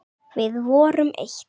Við vorum eitt.